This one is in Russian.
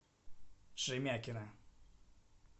шемякина